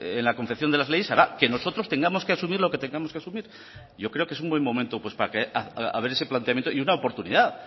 en la confección de las leyes hará que nosotros tengamos que asumir lo que tengamos que asumir y yo creo que es un buen momento para ver ese planteamiento y una oportunidad